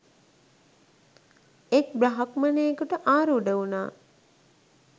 එක් බ්‍රහ්මයෙකුට ආරූඪ වුණා.